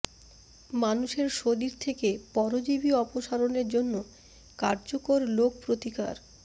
মানুষের শরীর থেকে পরজীবী অপসারণের জন্য কার্যকর লোক প্রতিকার